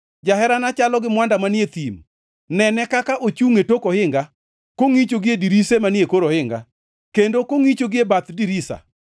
Jaherana chalo gi mwanda manie thim. Nene kaka ochungʼ e tok ohinga, kongʼicho gie dirise manie kor ohinga, kendo kongʼicho gie bath dirisa.